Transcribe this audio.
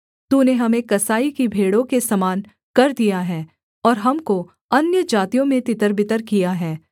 तूने हमें कसाई की भेड़ों के समान कर दिया है और हमको अन्यजातियों में तितरबितर किया है